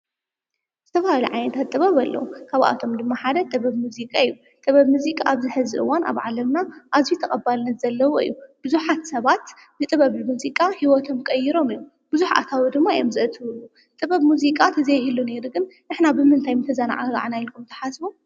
ዝተፈላለዩ ዓይነታት ጥበብ ኣለዉ፡፡ ካብኣቶም ድማ ሓደ ጥበብ ሙዚቃ እዩ፡፡ ጥበብ ሙዚቃ ኣብ ዝሕዚ እዋን ኣብ ዓለምና ኣዙይ ተቐባልነት ዘለዎ እዩ፡፡ ብዙሓት ሰባት ብጥበብ ሙዚቃ ዐይወቶም ቀይሮም እዮም፡፡ ብዙሕ ኣታዊ ድማ እየም ዘእትውሉ፡፡ ጥበብ ሙዚቃ ተዘይህሉ ነይሩ ግን ንሕና ብምንታይ ምተዛናጋዕና ኢልኩም ተሓስቡ?